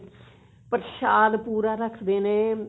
ਪ੍ਰਸ਼ਾਦ ਪੂਰਾ ਰੱਖਦੇ ਨੇ